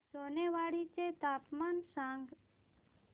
सोनेवाडी चे तापमान सांग